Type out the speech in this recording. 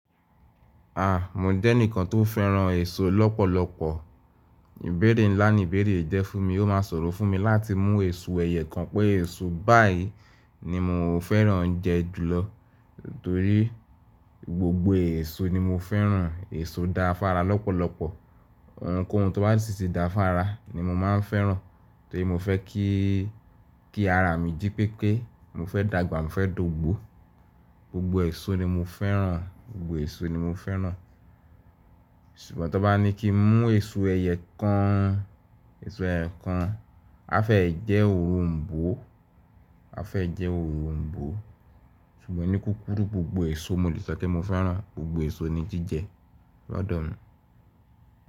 A! Mò jẹ́ ẹnikan tó fẹ́ràn èso lọ́pọ̀lọpọ̀. Ibẹ̀rẹ̀ ńlá ni ìbẹ̀rẹ̀ yi jẹ́ fún mi, ó máa soro fún mi láti mú èso ẹyẹ kan pé èso báyìí ni mò fẹ́ràn jẹ́ jùlọ. Torí gbogbo èso ni mò fẹ́ràn, èso da fára lọ́pọ̀lọpọ̀. Ohunkóhun tó bá sì ti da fára ni mò máa ń fẹ́ràn torí mò fẹ́ kí, kí ara mi jí pépé, mò fẹ́ dàgbà, mò fẹ́ dògbo. Gbogbo èso ni mò fẹ́ràn, gbogbo èso ni mò fẹ́ràn. Ṣùgbọ́n tan bá ní kí n mú èso ẹ̀yẹ kan, èso ẹ̀yẹ kan, a fẹ́ jẹ́ òronbó, a fẹ́ jẹ́ òronbó. Ṣùgbọ́n ní kúkúrú gbogbo èso mò lè sọ pé mò fẹ́ràn, gbogbo èso ni jíjẹ lọ́dọ̀ mi.